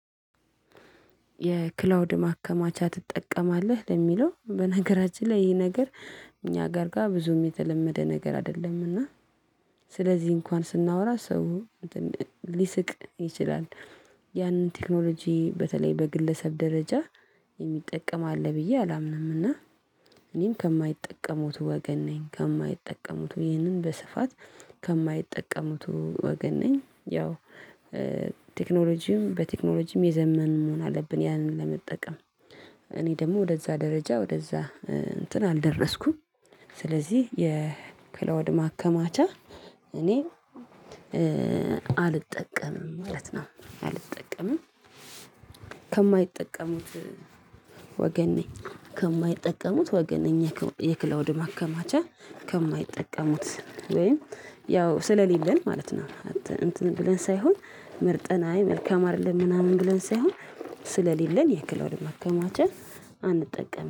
የክላውድ ማከማቻ ትጠቀማለህ ለሚለው በነገራችን ላይ ይሄ ነገር እኛ ጋር ጋር ብዙም የተለመደ ነገር አይደለምና። ስለዚህ እንኳን ስናወራ ሰው ሊስቅ ይችላል። ያንን ቴክኖሎጂ በተለይ በግለሰብ ደረጃ የሚጠቀም አለ ብዬ አላምንም እና። እኔም ከማይጠቀሙት ወገን ነኝ ከማይጠቀሙት ይህንን በስፋት ከማይጠቀሙት ወገን ነኝ። ያው ቴክኖሎጂም በቴክኖሎጂም የዘመን መሆን አለብን ያንን ለመጠቀም እኔ ደግሞ ወደዛ ደረጃ ወደዛ እንትን አልደረስኩም። ስለዚህ የክለወድ ማከማቻ እኔ አልጠቀምም ማለት ነው አልጠቀምም። ከማይጠቀሙት ወገኔ ከማይጠቀሙት ወገን የክላውድ ማከማቻ ከማይጠቀሙት ወይም ያው ስለሌለን ማለት ነው። እንትን ብለን ሳይሆን መርጠና መልካም አይደለም ምናምን ብለን ሳይሆን ስለሌለን የክላውድ መከማቸት አንጠቀምም